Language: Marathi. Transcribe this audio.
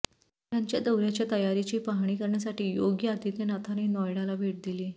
त्यांच्या दौऱ्याच्या तयारीची पाहणी करण्यासाठी योगी आदित्यनाथांनी नोईडाला भेट दिली